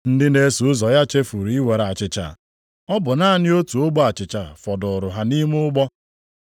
Ndị na-eso ụzọ ya chefuru iwere achịcha. Ọ bụ naanị otu ogbe achịcha fọdụụrụ ha nʼime ụgbọ.